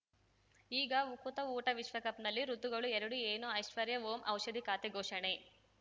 ಈಗ ಉಕುತ ಊಟ ವಿಶ್ವಕಪ್‌ನಲ್ಲಿ ಋತುಗಳು ಎರಡು ಏನು ಐಶ್ವರ್ಯಾ ಓಂ ಔಷಧಿ ಖಾತೆ ಘೋಷಣೆ